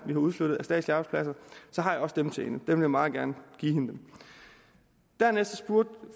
vi har udflyttet så har jeg også dem til hende dem vil jeg meget gerne give hende dernæst spurgte